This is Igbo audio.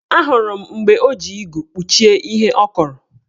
Ahụrụ m mgbe o ji igu kpuchie ihe ọ kọrọ